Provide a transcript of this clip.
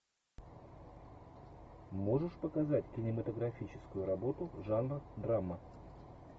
можешь показать кинематографическую работу жанр драма